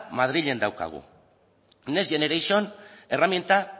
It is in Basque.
madrilen daukagu next generation erraminta